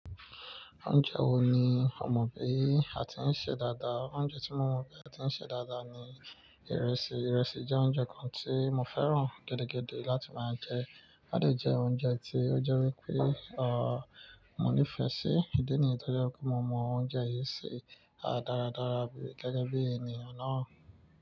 Oúnjẹ wo ni o mọ̀ bí a ti ń ṣe dáadáa? Oúnjẹ tí mo mọ̀ bí a ti ń ṣe dáadáa ni ìrẹsì. Ìrẹsì jẹ́ oúnjẹ kan tí mo fẹ́ràn gẹ́dẹ́gẹ́dẹ́ láti máa jẹ. A dè jẹ oúnjẹ tí ó jẹ́ wípé, mo nífẹ̀ẹ́ sí. Ídí nìyí tó jẹ́ kó mo mọ oúnjẹ yìí ṣe. A dára dára gẹ́gẹ́ bí ènìyàn náà.